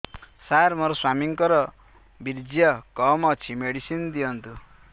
ସାର ମୋର ସ୍ୱାମୀଙ୍କର ବୀର୍ଯ୍ୟ କମ ଅଛି ମେଡିସିନ ଦିଅନ୍ତୁ